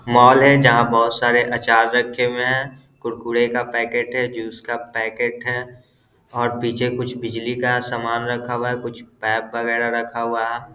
Mall है जहाँ बहुत सारे आचार रखे हुए हैं कुरकुरे का पैकेट रखा है जूस का पैकेट रखा है पीछे कुछ बिजली का सामान रखा हुआ है कुछ पाइप वगैरा रखा हुआ है।